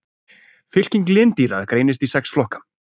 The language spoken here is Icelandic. Fylking lindýra greinist í sex flokka.